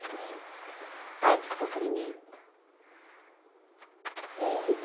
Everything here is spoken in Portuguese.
Direito. Ai, que sofrimento. E